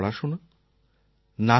লণ্ডনে ওনার পড়াশোনা